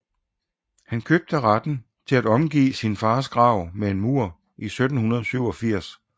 Han købte retten til at omgive sin fars grav med en mur i 1787